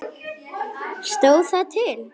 Stóð það til?